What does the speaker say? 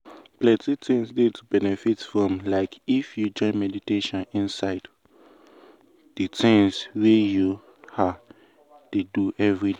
my plan choke omo!!! but i mean i go try find time wey i go take meditate.